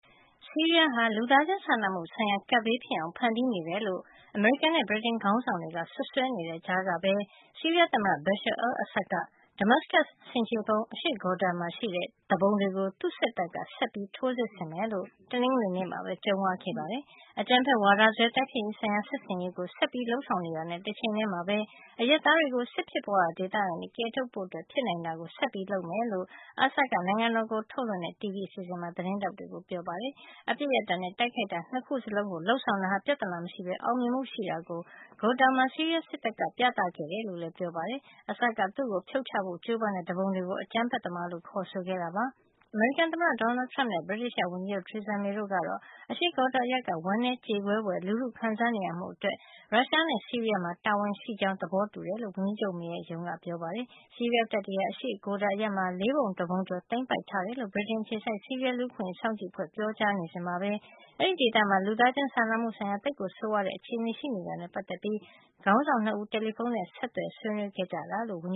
ဆီးရီးယားဟာ လူသားချင်းစာနာမှုဆိုင်ရာ ကပ်ဘေးဖြစ်အောင် ဖန်တီးနေတယ်လို့ အမေရိကန်နဲ့ ဗြိတိန်ခေါင်းဆောင်တွေက စွပ်စွဲနေတဲ့ ကြားကပဲ ဆီးရီးယား သမ္မတ Bashar al-Assad က Damascus ဆင်ခြေဖုံး အရှေ့ Ghouta မှာ ရှိတဲ့ သူပုန်တွေကို သူ့စစ်တပ်က ဆက်ပြီး ထိုးစစ်ဆင်မယ်လို့ တနင်္ဂနွေနေ့မှာပဲ ကြုံးဝါးခဲ့ပါတယ်။ အကြမ်းဖက်ဝါဒစွဲ တိုက်ဖျက်ရေးဆိုင်ရာ စစ်ဆင်ရေးကို ဆက်လက်လုပ်ဆောင်တာနဲ့ တချိန်ထဲမှာပဲ အရပ်သားတွေကို စစ်ဖြစ်ပွါးရာ ဒေသကနေ ကယ်ထုတ်ဖို့ ဖြစ်နိုင်တာကို ဆက်လုပ်မယ်လို့ Assad က နိုင်ငံတော်ကိုထုတ်လွှင့်တဲ့ TV အစီစဉ်မှာ သတင်းထောက်တွေကို ပြောပါတယ်။ အပစ်ရပ်တာနဲ့ တိုက်ခိုက်တာ နှစ်ခုလုံးကို လုပ်ဆောင်တာဟာ ပြဿနာမရှိပဲ အောင်မြင်မှု ရှိတာကို Ghouta မှာ ဆီးရီးယားစစ်တပ်က ပြသခဲ့ကြောင်းလည်း ပြောပါတယ်။ Assad က သူ့ကို ဖြုတ်ချဖို့ ကြိုးပမ်းတဲ့ သူပုန်တွေကို အကြမ်းဖက်သမားလို့ ခေါ်ဆိုခဲ့တာပါ။ အမေရိကန်သမ္မတ Donald Trump နဲ့ ဗြိတိသျှ ဝန်ကြီးချုပ် Theresa May တို့ကတော့ အရှေ့ Ghouta အရပ်က ဝမ်းနည်းကြေကွဲဖွယ် လူထုခံစားနေရမှုအတွက် ရုရှားနဲ့ ဆီးရီးယားမှာ တာဝန်ရှိတယ်ဆိုတာ သဘောထားတူတယ်လို့ ဝန်ကြီးချုပ် May ရဲ့ ရုံးက ပြောပါတယ်။ ဆီးရီးယားတပ်တွေဟာ အရှေ့ Ghouta နယ်မြေ လေးပုံတပုံကျော်ကို သိမ်းပိုက်ထားတယ်လို့ ဗြိတိန်အခြေစိုက် ဆီးရီးယား လူ့အခွင့်အရေးအခြေအနေ စောင့်ကြည့်လေ့လာရေးအဖွဲ့က ပြောကြားနေစဉ်မှာပဲ အဲဒီဒေသမှာ လူသားချင်းစာနာမှု ဆိုင်ရာ သိပ်ကို ဆိုးဝါးတဲ့ အခြေနေရှိနေတာနဲ့ ပတ်သက်ပြီး ခေါင်းဆောင် နှစ်ဦး တယ်လီဖုန်းနဲ့ ဆက်သွယ် ဆွေးနွေးခဲ့ကြတယ်လို့ ဝန်က